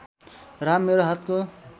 राम मेरो हातको